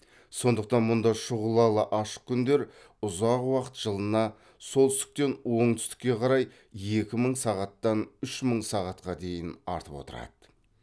сондықтан мұнда шұғылалы ашық күндер ұзақ уақыт жылына солтүстіктен оңтүстікке қарай екі мың сағаттан үш мың сағатқа дейін артып отырады